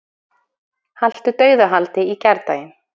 Haltu dauðahaldi í gærdaginn.